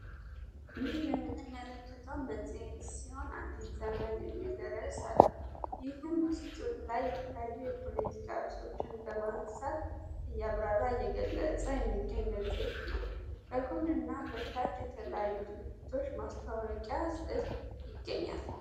ይህ የምንመለከታው መጽሔት ሲሆን አዲት ዘመን የሚልርርስ አለው ይህም ውስጡል ላይ የተላዩ የፖለቲካ እርሶችን በማንሳት እያብራራ የገለጸ የሚገኝ መጽሄት ነው። በጎን እና በታች የተላዩ ድርቶች ማስታወቂያ ስዕል ይገኛል።